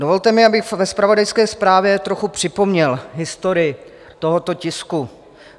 Dovolte mi, abych ve zpravodajské zprávě trochu připomněl historii tohoto tisku.